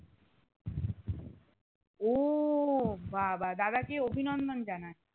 উহ বাবা দাদা কে অভিনন্দন জানাস